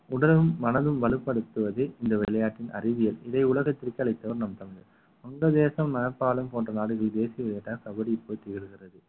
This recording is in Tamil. உடலும் மனதும் வலுப்படுத்துவதே இந்த விளையாட்டின் அறிவியல் இதை உலகத்திற்கு அளித்தவர் நம் தமிழன் வங்கதேசம் நேபாளம் போன்ற நாடுகளில் தேசிய போட்டி இடுகிறது